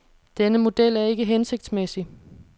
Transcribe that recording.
Denne model er ikke hensigtsmæssig.